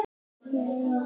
vildi Júlía vita.